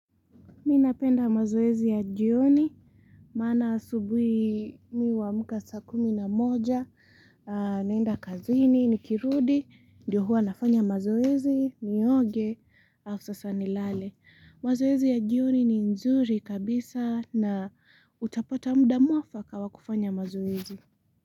Mimi napenda mazoezi ya jioni, maana asubuhi mimi huamka saa kumi na moja naenda kazini, nikirudi, ndio huwa na fanya mazoezi, nioge, alafu sasa nilale. Mazoezi ya jioni ni nzuri kabisa na utapata muda muafaka wa kufanya mazoezi.